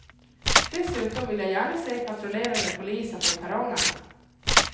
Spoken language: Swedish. Dessutom vill jag gärna se patrullerande poliser på perrongerna.